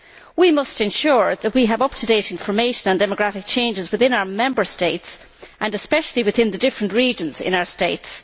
We must ensure that we have up to date information on demographic changes within our Member States and especially within the different regions in our states.